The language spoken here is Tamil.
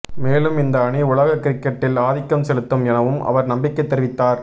மேலும் இந்த அணி உலக கிரிக்கெட்டில் ஆதிக்கம் செலுத்தும் எனவும் அவர் நம்பிக்கை தெரிவித்தார்